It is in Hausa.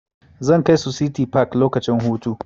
Zan kai su City park lokacin hutu.